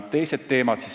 Teised teemad.